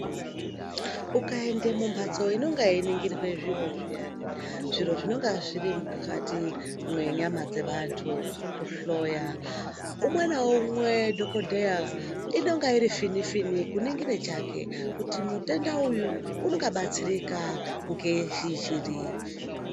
Ukaende mumhatso inonga yeiningirirwa zviro zviyani, zviro zvinenge zvirimukati menyama dzevantu, kuhloya, umwe naumwe dhogodheya inonge iri fini-fini kuningire chake kuti mutenda uyu ungabatsirika ngezvizviri.